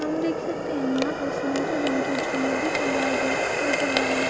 हम देख सकते है यहाँ पे सुनहरे रंग के झूमर भी टँगाए गए नजर आ रहे हैं।